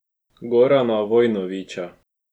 Gorana Vojnovića.